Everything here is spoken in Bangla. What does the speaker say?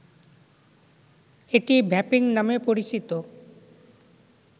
এটি ‘ভ্যাপিং’ নামে পরিচিত